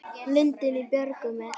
Lundinn í björgum er.